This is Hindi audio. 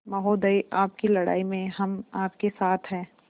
महोदय आपकी लड़ाई में हम आपके साथ हैं